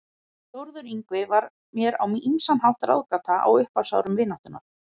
Þórður Yngvi var mér á ýmsan hátt ráðgáta á upphafsárum vináttunnar.